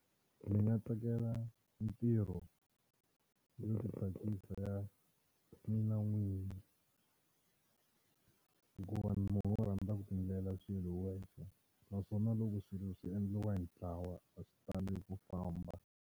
Ndzi nga tsakela ntirho yo tsakisa mina n'winyi hikuva ni munhu wo rhandza ku ti endlela swilo hi wexe naswona loko swilo swi endliwa hi ntlawa a swi tali ku famba.